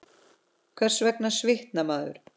Hvers vegna svitnar maður?